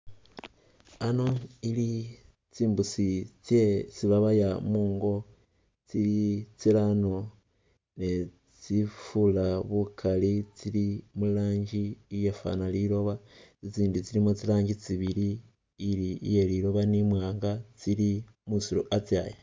Ano ili tsimbusi tsyesi babaya mungo tsili tsirano ne tsifura bukali tsili murangi iyafana lilooba, i'tsindi tsilimo tsirangi tsibili ili iyelilooba ni mwaanga tsili musiiru a'tsaya